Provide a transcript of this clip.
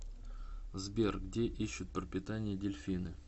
сбер где ищут пропитание дельфины